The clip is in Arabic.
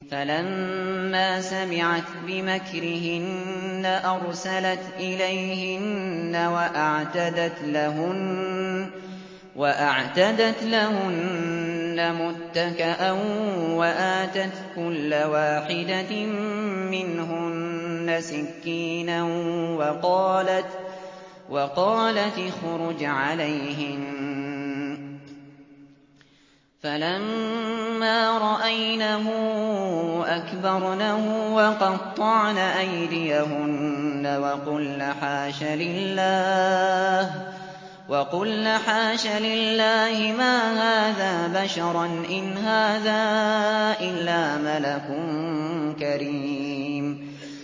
فَلَمَّا سَمِعَتْ بِمَكْرِهِنَّ أَرْسَلَتْ إِلَيْهِنَّ وَأَعْتَدَتْ لَهُنَّ مُتَّكَأً وَآتَتْ كُلَّ وَاحِدَةٍ مِّنْهُنَّ سِكِّينًا وَقَالَتِ اخْرُجْ عَلَيْهِنَّ ۖ فَلَمَّا رَأَيْنَهُ أَكْبَرْنَهُ وَقَطَّعْنَ أَيْدِيَهُنَّ وَقُلْنَ حَاشَ لِلَّهِ مَا هَٰذَا بَشَرًا إِنْ هَٰذَا إِلَّا مَلَكٌ كَرِيمٌ